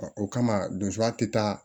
o kama donya te taa